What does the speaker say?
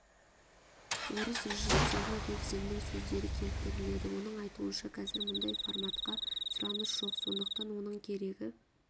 орыс режиссері ревзиннің сөздері келтіріледі оның айтуынша қазір мұндай форматқа сұраныс жоқ сондықтан оның керегі